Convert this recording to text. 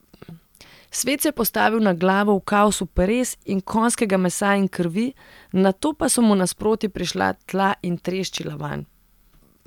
Svet se je postavil na glavo v kaosu peres in konjskega mesa in krvi, nato pa so mu nasproti prišla tla in treščila vanj.